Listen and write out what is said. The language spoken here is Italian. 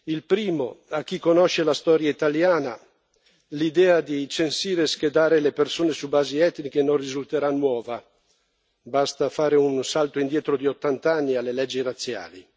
Il primo, a chi conosce la storia italiana, l'idea di censire e schedare le persone su basi etniche non risulterà nuova basta fare un salto indietro di 80 anni alle leggi razziali.